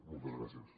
moltes gràcies